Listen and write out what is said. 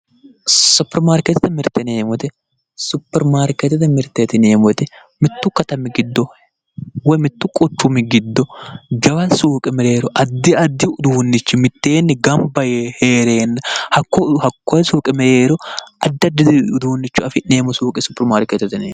suppermaarkeetete mirite yineemmo woyite suppermaarkeete mittu quchumi giddo jawa suuqe mereero addi addi addi uduunnichi mitteenni gamba yee heereenna hattee suuqe mereero udunnicho afi'neemmo suuqe suppermaarkeeteye yineemmo.